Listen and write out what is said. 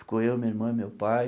Ficou eu, minha irmã e meu pai.